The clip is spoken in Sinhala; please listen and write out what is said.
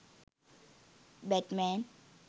batman